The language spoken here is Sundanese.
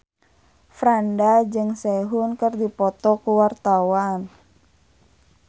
Franda jeung Sehun keur dipoto ku wartawan